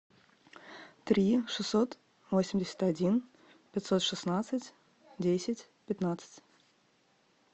три шестьсот восемьдесят один пятьсот шестнадцать десять пятнадцать